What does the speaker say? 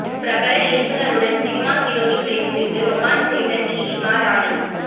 பிரபல இயக்குனருடன் cinema heroine ரேஞ்சிற்கு ரொமான்ஸ் செய்த நீலிமா ராணி